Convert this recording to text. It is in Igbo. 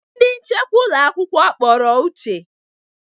Ndị nchekwa ụlọ akwụkwọ kpọrọ Uche.